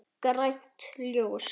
Grænt ljós.